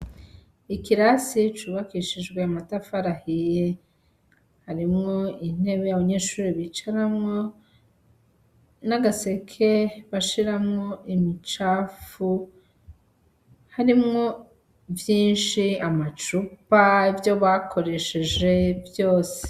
Ikirasi cubakishijwe amatafari ahiye. Harimwo intebe abanyeshure bicaramwo, n'agaseke bashiramwo imicafu, harimwo vyinshi: amacupa, ivyo bakoresheje vyose.